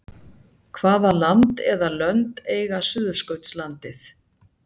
hvaða land eða lönd eiga suðurskautslandið